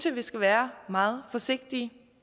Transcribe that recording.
vi skal være meget forsigtige